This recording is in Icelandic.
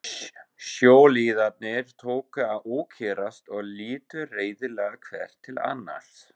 Sjóliðarnir tóku að ókyrrast og litu reiðilega hver til annars.